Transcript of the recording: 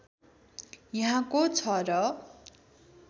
यहाँ को छ र